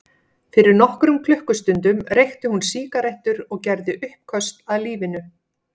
Fyrir nokkrum klukkustundum reykti hún sígarettur og gerði uppköst að lífinu.